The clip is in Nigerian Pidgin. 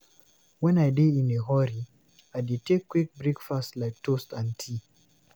When I dey in a hurry, I dey take quick breakfast like toast and tea.